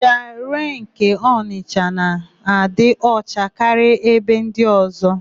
Jiarụee nke Onịsha na-adị ọcha karịa ebe ndị ọ̀zọ́.